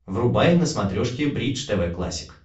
врубай на смотрешке бридж тв классик